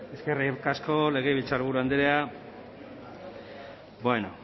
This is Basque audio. eskerrik asko legebiltzarburu andrea